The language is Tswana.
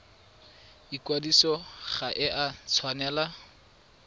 ikwadiso ga e a tshwanela